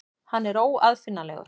Hann er óaðfinnanlegur.